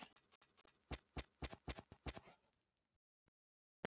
Margrjet, er bolti á sunnudaginn?